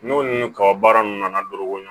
N'o ni kaba baara ninnu nana don o kɔnɔ